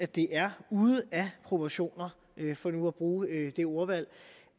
det er ude af proportioner for nu at bruge det ordvalg